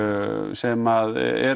sem er